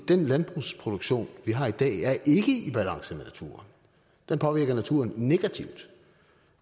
den landbrugsproduktion vi har i dag er ikke i balance med naturen den påvirker naturen negativt